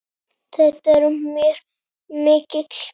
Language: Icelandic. Þetta er mér mikill missir.